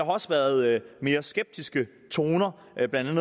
også været mere skeptiske toner blandt